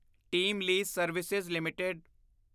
team lease service LTD